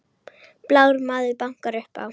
Blár maður bankar upp á